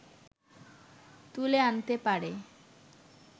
তুলে আনতে পারে